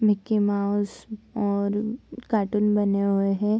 Mickey Mouse और cartoon बने हुए है।